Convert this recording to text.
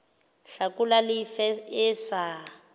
hlakola le efe e sa